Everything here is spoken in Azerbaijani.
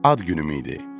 Ad günüm idi.